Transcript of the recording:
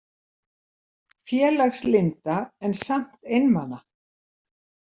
Félagslynda en samt einmana.